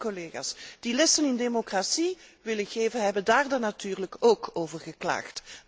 Diezelfde collega's die lessen in democratie willen geven, hebben daar natuurlijk ook over geklaagd.